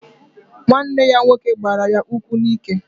Nwanne ya nwoke gbara ya ụkwụ n'ike.